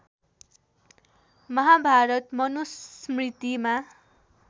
Mahabharat मनुस्मृतिमा